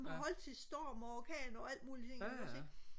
som kan holde til storm og orkan og alt mulige ting ikke også ikke